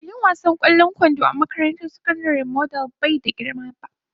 Filin wasan ƙwallon kwando a makarantar sakandare model bai da girma ba.